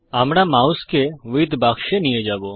আমরা মাউসকে উইদথ বাক্সে নিয়ে যাব